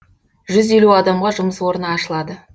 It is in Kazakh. жүз елу адамға жұмыс орны ашылады